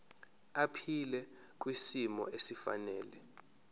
aphile kwisimo esifanele